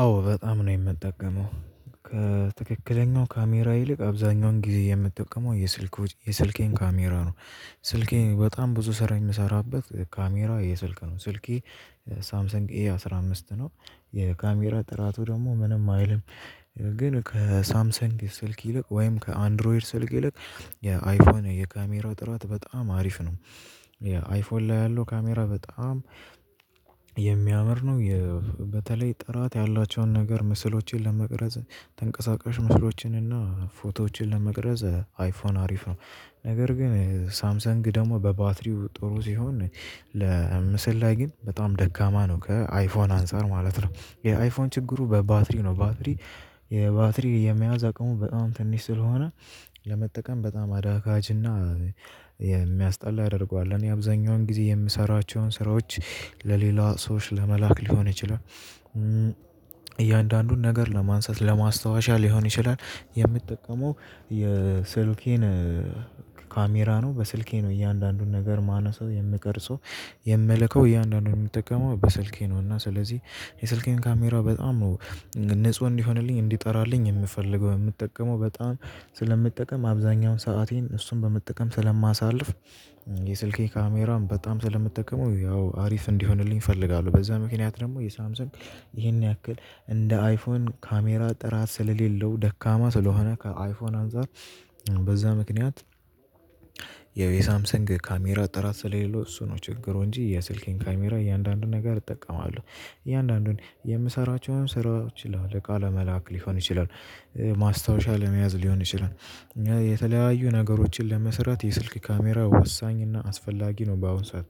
አዎ በጣም ነው የምጠቀመው ከትክክለኛው ካሜራ ይልቅ አብዛኛውን ጊዜ የምጠቀመው የስልኮች የስልኬን ካሜራ ነው። ስልኬን በጣም ብዙ ስራ የምሰራበት ካሜራ የስልክ ነው። ስልኬ ሳምሰንግ ኤ አስራ አምስት ነው። የካሜራ ጥራቱ ደግሞ ምንም አይልም። ግን ከሳምሰንግ ስልክ ይልቅ ወይም ከአንድሮይድ ስልክ ይልቅ የአይፎን የካሜራ ጥራት በጣም አሪፍ ነው። አይፎን ላይ ያለው ካሜራ በጣም የሚያምር ነው። በተለይ ጥራት ያላቸውን ነገር ምስሎችን ለመቅረጽ ተንቀሳቃሽ ምስሎችን እና ፎቶዎችን ለመቅረጽ አይፎን አሪፍ ነው። ነገር ግን ሳምሰንግ ደግሞ በባትሪው ጥሩ ሲሆን ለምስል ላይ ግን በጣም ደካማ ነው ከአይፎን አንፃር ማለት ነው። የአይፎን ችግሩ በባትሪ ነው። ባትሪ የባትሪ የመያዝ አቅሙ በጣም ትንሽ ስለሆነ ለመጠቀም በጣም አዳጋችና የሚያስጠላ ያደርገዋል። እኔ አብዛኛውን ጊዜ የምሰራቸውን ስራዎች ለሌላ ሰዎች ለመላክ ሊሆን ይችላል። እያንዳንዱን ነገር ለማንሳት ለማስታወሻ ሊሆን ይችላል። የምጠቀመው የስልኬን ካሜራ ነው። በስልኬ ነው እያንዳንዱን ነገር ማነሳው የምቀርጸው የምልከው እያንዳንዱን የምጠቀመው በስልኬ ነው። እና ስለዚህ የስልኬን ካሜራ በጣም ነው ንጹህ እንዲሆንልኝ እንዲጠራልኝ የምፈልገው የምጠቀመው በጣም ስለምጠቀም አብዛኛውን ሰአቴን እሱን በመጠቀም ስለማሳልፍ የስልኬ ካሜራን በጣም ስለምጠቀመው ያው አሪፍ እንዲሆንልኝ እፈልጋለሁ። በዛ ምክንያት ደግሞ የሳምሰንግ ይሄን ያክል እንደ አይፎን ካሜራ ጥራት ስለሌለው ደካማ ስለሆነ ከአይፎን አንፃር በዛ ምክንያት። ያው የሳምሰንግ ካሜራ ጥራት ስለሌለው እሱ ነው ችግሩ እንጂ የስልኬን ካሜራ እያንዳንዱን ነገር እጠቀማለሁ። እያንዳንዱን የምሰራቸውን ሥራይዎች ይላል እቃ ለመላክ ሊሆን ይችላል። ማስታወሻ ለመያዝ ሊሆን ይችላል። የተለያዩ ነገሮችን ለመስራት የስልክ ካሜራ ወሳኝ እና አስፈላጊ ነው። በአሁን ሰዓት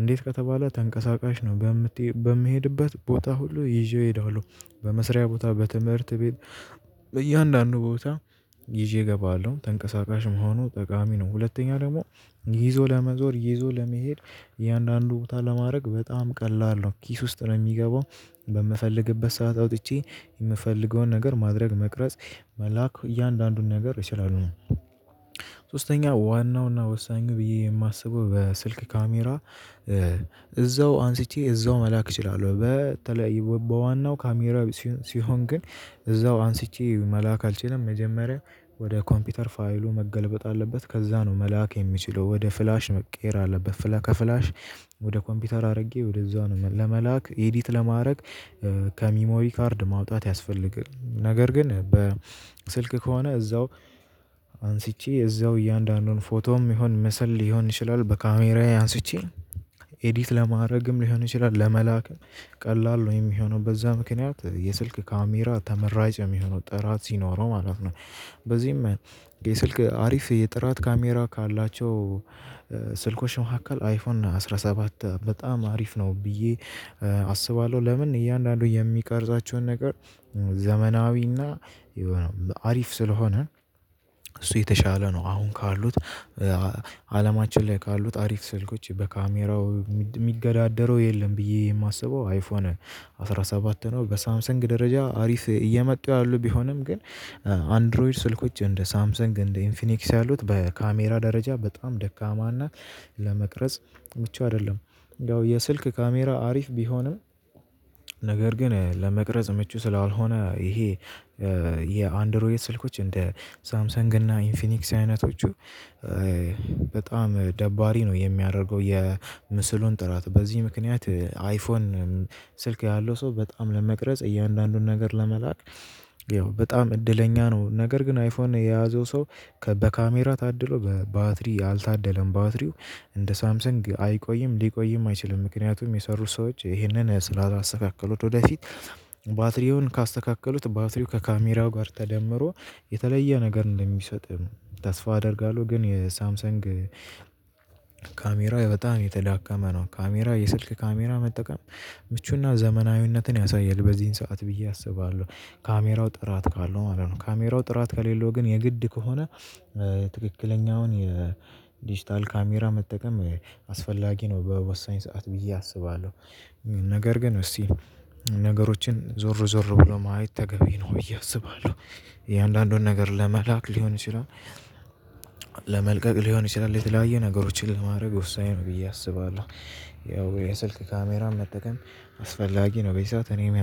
እንዴት ከተባለ ተንቀሳቃሽ ነው በምት በምሄድበት ቦታ ሁሉ ይዤው ሄደዋለሁ። በመስሪያ ቦታ በትምህርት ቤት በእያንዳንዱ ቦታ ይዤ እገባለሁ ተንቀሳቃሽ መሆኑ ጠቃሚ ነው። ሁለተኛ ደግሞ ይዞ ለመዞር ይዞ ለመሄድ እያንዳንዱ ቦታ ለማድረግ በጣም ቀላል ነው። ኪስ ውስጥ ነው የሚገባው በምፈልግበት ሰዓት አውጥቼ የምፈልገውን ነገር ማድረግ መቅረጽ መላክ እያንዳንዱን ነገር ይችላሉ። ሶስተኛ ዋናውና ወሳኙ ብዬ የማስበው በስልክ ካሜራ እዛው አንስቼ እዛው መላክ እችላለሁ። በተለያየ በዋናው ካሜራው ሲሆን ግን እዛው አንስቼ መላክ አልችልም። መጀመሪያ ወደ ኮምፒውተር ፋይሉ መገልበጥ አለበት ከዛ ነው መላክ የምችለው ወደ ፍላሽ መቀየር አለበት ፍላሽ ከፍላሽ ወደ ኮምፒውተር አድርጌ ወደዛ ነው መላ ለመላክ ኤዲት ለማድረግ። ከሚሞሪ ካርድ ማውጣት ያስፈልጋል። ነገር ግን በስልክ ከሆነ እዛው አንስቼ እዛው እያንዳንዱን ፎቶም ይሁን ምስል ሊሆን ይችላል በካሜራዬ አንስቼ ኤዲት ለማድረግም ሊሆን ይችላል ለመላክ ቀላል ነው የሚሆነው በዛ ምክንያት የስልክ ካሜራ ተመራጭ የሚሆነው ጥራት ሲኖረው ማለት ነው። በዚህም የስልክ አሪፍ የጥራት ካሜራ ካላቸው ስልኮች መካከል አይፎን አስራ ሰባት በጣም አሪፍ ነው። ብዬ አስባለሁ። ለምን እያንዳንዱ የሚቀርጻቸውን ነገር ዘመናዊና የሆነ አሪፍ ስለሆነ። እሱ የተሻለ ነው። አሁን ካሉት አለማችን ላይ ካሉት አሪፍ ስልኮች በካሜራው የሚገዳደረው የለም ብዬ የማስበው አይፎን አስራ ሰባት ነው። በሳምሰንግ ደረጃ አሪፍ እየመጡ ያሉ ቢሆንም ግን አንድሮይድ ስልኮች እንደ ሳምሰንግ እንደ ኢንፊኒክስ ያሉት በካሜራ ደረጃ በጣም ደካማ እና ለመቅረጽ ምቹ አይደለም። ያው የስልክ ካሜራ አሪፍ ቢሆንም ነገር ግን ለመቅረጽ ምቹ ስላልሆነ ይሄ የአንድሮይድ ስልኮች እንደ ሳምሰንግ እና ኢንፊኒክስ አይነቶቹ በጣም ደባሪ ነው የሚያደርገው። የምስሉን ጥራት በዚህ ምክንያት አይፎን ስልክ ያለው ሰው በጣም ለመቅረጽ እያንዳንዱን ነገር ለመላክ ያው በጣም እድለኛ ነው። ነገር ግን አይፎን የያዘው ሰው በካሜራ ታድሎ በባትሪ አልታደለም። ባትሪው እንደ ሳምሰንግ አይቆይም ሊቆይም አይችልም። ምክንያቱም የሠሩት ሰዎች ይህንን ስላስተካከሉት ወደፊት ባትሪውን ካስተካከሉት ባትሪው ከካሜራው ጋር ተደምሮ የተለየ ነገር እንደሚሰጥ ተስፋ አደርጋለሁ። ግን የሳምሰንግ ካሜራ በጣም የተዳከመ ነው። ካሜራ የስልክ ካሜራ መጠቀም ምቹና ዘመናዊነትን ያሳያል በዚህን ሰዓት ብዬ አስባለሁ። ካሜራው ጥራት ካለው ማለት ነው። ካሜራው ጥራት ከሌለው ግን የግድ ከሆነ ትክክለኛውን የዲጂታል ካሜራ መጠቀም አስፈላጊ ነው። በወሳኝ ሰዓት ብዬ አስባለሁ። ነገር ግን እስቲ ነገሮችን ዞር ዞር ብሎ ማየት ተገቢ ነው ብዬ አስባለሁ። የእያንዳንዱን ነገር ለመላክ ሊሆን ይችላል። ለመልቀቅ ሊሆን ይችላል የተለያየ ነገሮችን ለማድረግ ወሳኝ ነው ብዬ አስባለሁ። ያው የስልክ ካሜራ መጠቀም አስፈላጊ ነው። በዚ ሰዓት እኔም